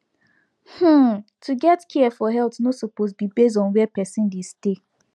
hmm to get care for health no suppose be base on where person dey stay